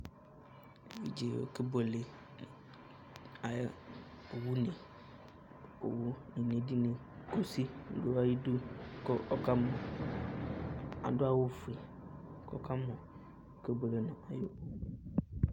Éʋidjé ɔkébuélé ayɔ owu né Owu nédini kusi du ayi du ku ɔka mu, kadu awu fué kɔ ɔkamu oké buélé nɔ